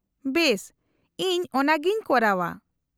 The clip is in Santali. -ᱵᱮᱥ, ᱤᱧ ᱚᱱᱟᱜᱤᱧ ᱠᱚᱨᱟᱣᱼᱟ ᱾